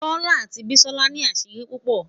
tola ati bisola ni asiri pupo